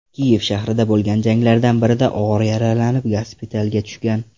Kiyev shahrida bo‘lgan janglardan birida og‘ir yaralanib, gospitalga tushgan.